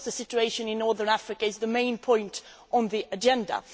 Of course, the situation in North Africa is the main point on the agenda.